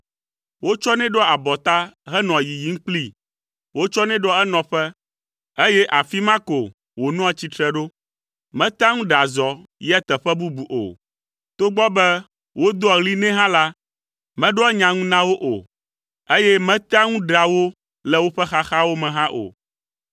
Wotsɔnɛ ɖoa abɔta henɔa yiyim kplii. Wotsɔnɛ ɖoa enɔƒe, eye afi ma ko wònɔa tsitre ɖo. Metea ŋu ɖea zɔ yia teƒe bubu o. Togbɔ be wodoa ɣli nɛ hã la, meɖoa nya ŋu na wo o, eye metea ŋu ɖea wo le woƒe xaxawo me hã o.